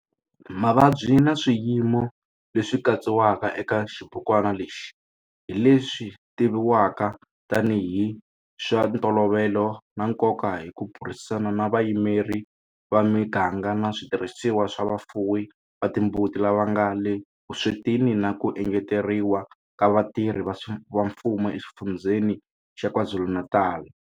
Mavabyi na swiyimo leswi katsiwaka eka xibukwana lexi hi leswi tivivwaka tanihi hi swa ntolovelo na nkoka hi ku burisana na vayimeri va miganga na switirhisiwa swa vafuwi va timbuti lava nga le vuswetini na ku engeteriwa ka vatirhi va mfumo eXifundzheni xa KwaZulu-Natal.